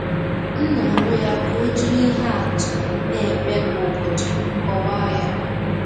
M na-arịọ ya ka o jiri ihe atụ na-eme kwa ụbọchị kọwaa ya.